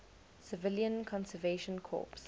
civilian conservation corps